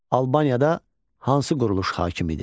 Albaniyada hansı quruluş hakim idi?